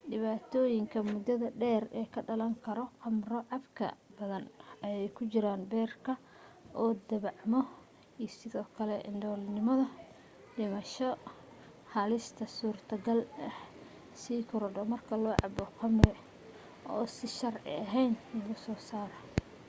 dhibaatooyinka mudada dheer ee ka dhalan karo khamro cabka badan ayee ku jiraan beerka oo dhaabacmo iyo sidoo kale indhoolnimo iyo dhimasho halista surtogalka ah ayaa sii korodho marka la cabo khamri oo si sharci ahayn lagu soo saaray